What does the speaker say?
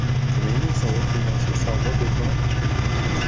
Shuningdek, zavod binosida savdo do‘koni tashkil etilgan.